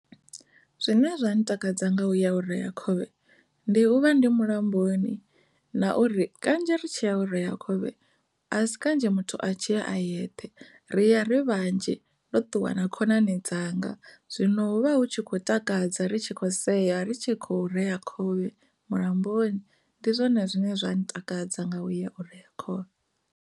Zwine zwa ntakadza nga u ya u reya khovhe ndi uri ri vha ri mulamboni na uri kanzhi ri tshi ya u rea khovhe a si kanzhi muthu a tshi ya a yeṱhe ri ya ri vhanzhi ro ṱuwa na khonani dzanga zwino hu vha hu tshi kho takadza ri tshi kho sea ri tshi kho rea khovhe mulamboni ndi zwone zwine zwa ntakadza nga u ya u reya khovhe.